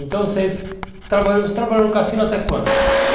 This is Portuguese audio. Então você trabalhou você trabalhou no cassino até quando?